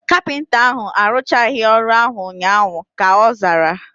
Kapịnta ahu aruchaghi ọrụ ahu ụnyaahụ, ka ọ zara